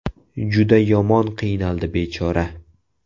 Juda yomon qiynaldi bechora.